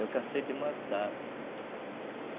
Eu cansei de matar.